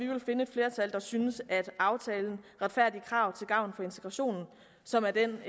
at der synes at aftalen retfærdige krav til gavn for integrationen som er den